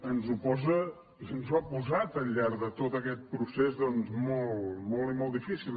ens ho posa ens ho ha posat al llarg de tot aquest procés doncs molt i molt difícil